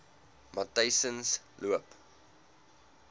matyzensloop